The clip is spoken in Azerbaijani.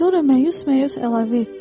Sonra məyus-məyus əlavə etdi.